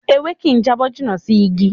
Ewé kì ń jábọ́ jìnnà sí Ígi